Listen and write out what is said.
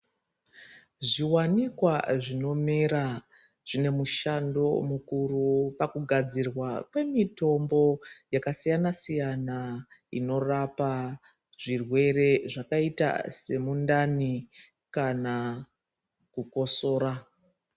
Zviwanikwa zvinomera zvine mushando mukuru kugadzirwa kwemitombo yakasiyana siyana inorapa zvirwere zvakaita semundani kana kukosora.